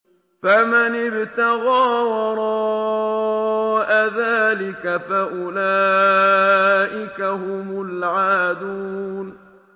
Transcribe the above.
فَمَنِ ابْتَغَىٰ وَرَاءَ ذَٰلِكَ فَأُولَٰئِكَ هُمُ الْعَادُونَ